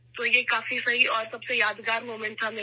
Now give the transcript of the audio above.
تو یہ میرے لیے بہترین اور یادگار لمحہ تھا